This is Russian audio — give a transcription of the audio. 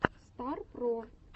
стар про